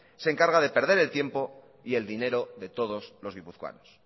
se encarga de perder el tiempo y el dinero de todos los guipuzcoanos